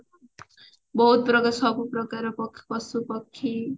ବହୁତ ପ୍ରକାର ସବୁ ପ୍ରକାର ପଶୁ ପକ୍ଷୀ